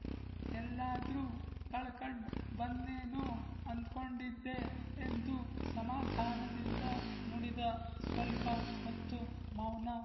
ಎಲ್ಲಾದ್ರು ಕಳ್ಕಂಡ್ ಬಂದ್ನೇನೊ ಅಂದ್ಕೊಂಡಿದ್ದೆ ಎಂದು ಸಮಾಧಾನದಿಂದ ನುಡಿದ ಸ್ವಲ್ಪ ಹೊತ್ತು ಮೌನ